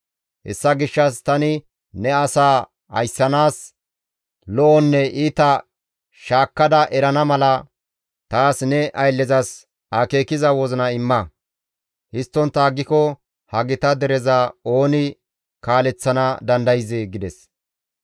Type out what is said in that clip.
Hessa gishshas tani ne asaa ayssanaas lo7onne iita shaakkada erana mala taas ne ayllezas akeekiza wozina imma; histtontta aggiko ha gita dereza ooni kaaleththana dandayzee?» gides.